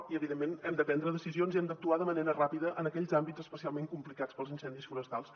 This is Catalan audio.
i evidentment hem de prendre decisions i hem d’actuar de manera ràpida en aquells àmbits especialment complicats pels incendis forestals